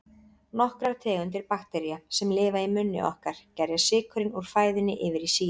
Nokkrar tegundir baktería, sem lifa í munni okkar, gerja sykurinn úr fæðunni yfir í sýru.